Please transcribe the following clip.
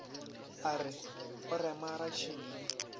a re o rema ratšhidi